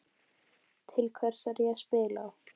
Til hvers er ég að spila?